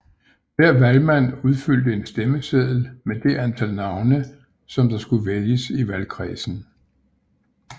Hver valgmand udfyldte en stemmeseddel med det antal navne som der skulle vælges i valgkredsen